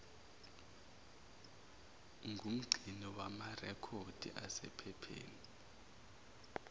ngumgcini wamarekhodi asephepheni